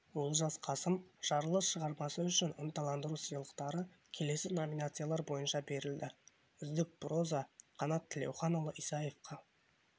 олжас қасым жарылыс шығармасы үшін ынталандыру сыйлықтары келесі номинациялар бойынша берілді үздік проза қанат тілеуханұлы исаевқа